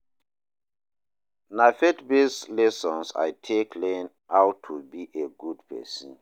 Na faith-based lessons I take learn how to be a good pesin.